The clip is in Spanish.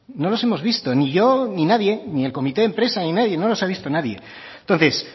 no los hemos visto ni yo ni nadie ni el comité de empresa ni nadie no los ha visto nadie entonces